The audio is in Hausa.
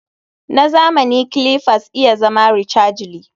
Na zamani clippers iya zama rechargely